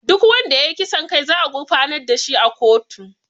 Duk wanda ya yi kisan kai za a gurfanar da shi a kotu